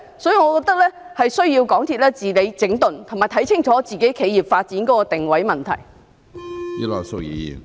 所以，我覺得港鐵公司需要治理、整頓，以及看清楚自己企業發展的定位問題。